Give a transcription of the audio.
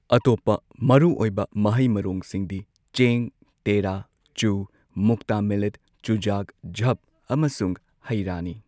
ꯑꯇꯣꯞꯄ ꯃꯔꯨ ꯑꯣꯏꯕ ꯃꯍꯩ ꯃꯔꯣꯡꯁꯤꯡꯗꯤ ꯆꯦꯡ, ꯇꯦꯔꯥ, ꯆꯨ, ꯃꯨꯛꯇꯥ ꯃꯤꯂꯦꯠ, ꯆꯨꯖꯥꯛ ꯓꯞ ꯑꯃꯁꯨꯡ ꯍꯩꯔꯥꯅꯤ꯫